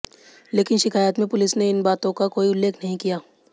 लेकिन शिकायत में पुलिस ने इन बातों का कोई उल्लेख नहीं किया